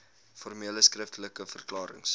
formele skriftelike verklarings